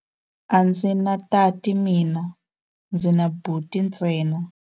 A ndzi na tati mina, ndzi na buti ntsena.